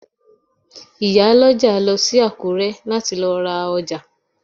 Ìyálọ́jà lọ sí Àkúrẹ́ láti lọ ra ọjà